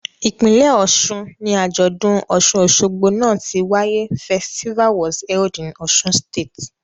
Ipinlẹ Ọ̀ṣun ni ajọdun Òṣun-ósogbó náa ti waye Festival was held in Osun state.